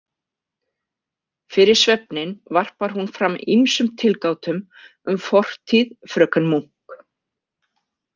Fyrir svefninn varpar hún fram ýmsum tilgátum um fortíð fröken Munk.